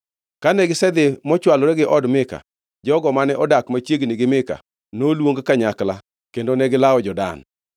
Kane gisedhi mochwolore gi od Mika, jogo mane odak machiegni gi Mika noluong kanyakla kendo negilawo jo-Dan.